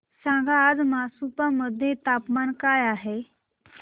सांगा आज मापुसा मध्ये तापमान काय आहे